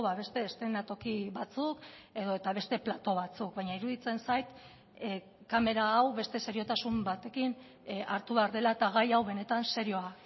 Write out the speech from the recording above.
beste eszenatoki batzuk edota beste plato batzuk baina iruditzen zait kamera hau beste seriotasun batekin hartu behar dela eta gai hau benetan serioa